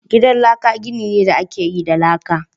Gidan laka gini ne da aka yi da laka